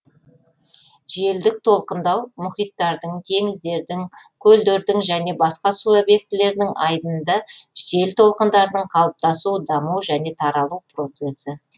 желдік толқындау мұхиттардың теңіздердің көлдердің және басқа су объектілерінің айдынында жел толқындарының калыптасу даму және таралу процесі